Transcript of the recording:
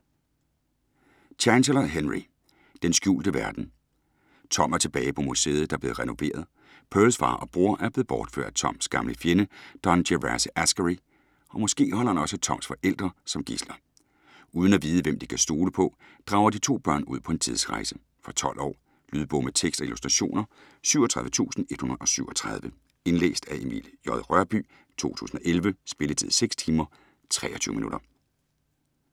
Chancellor, Henry: Den skjulte verden Tom er tilbage på museet, der er blevet renoveret. Pearls far og bror er blevet bortført af Toms gamle fjende Don Gervase Askary og måske holder han også Toms forældre som gidsler. Uden at vide hvem de kan stole på, drager de to børn ud på en tidsrejse. Fra 12 år. Lydbog med tekst og illustrationer 37137 Indlæst af Emil J. Rørbye, 2011. Spilletid: 6 timer, 23 minutter.